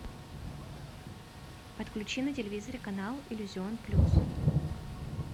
подключи на телевизоре канал иллюзион плюс